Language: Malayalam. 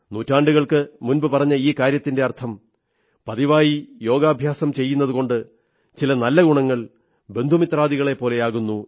നൂറ്റാണ്ടുകൾക്കു മുമ്പു പറഞ്ഞ ഈ കാര്യത്തിന്റെ അർഥം പതിവായി യോഗാഭ്യാസം ചെയ്യുന്നതുകൊണ്ട് ചില നല്ല ഗുണങ്ങൾ ബന്ധുമിത്രാദികളെപ്പോലെയാകുന്നു